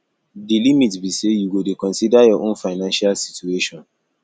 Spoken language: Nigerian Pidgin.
di limit be say you go dey consider your own financial situation